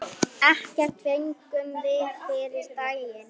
Ekkert fengum við fyrri daginn.